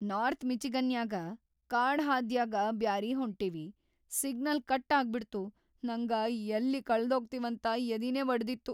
North ಮಿಚಿಗನ್ನ್ಯಾಗ ಕಾಡಹಾದ್ಯಾಗ ಬ್ಯಾರೆ ಹೊಂಟಿವಿ, ಸಿಗ್ನಲ್‌ ಕಟ್ ಆಗ್ಬಿಡ್ತು ನಂಗ ಯಲ್ಲಿ ಕಳದೋಗ್ತಿವಂತ ಯದಿನೇ ವಡದಿತ್ತು.